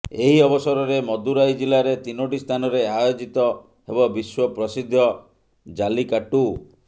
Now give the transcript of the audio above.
ଏହି ଅବସରରେ ମଦୁରାଇ ଜିଲ୍ଲାରେ ତିନୋଟି ସ୍ଥାନରେ ଆୟୋଜିତ ହେବ ବିଶ୍ୱ ପ୍ରସିଦ୍ଧ ଜାଲିକାଟ୍ଟୁ